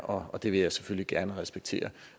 og det vil jeg selvfølgelig gerne respektere